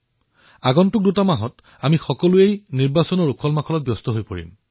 অহা দুমাহত আমি সকলোৱে নিৰ্বাচনী কাৰ্যত ব্যস্ত হৈ পৰিম